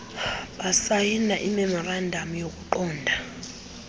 basayina imemorandam yokuqonda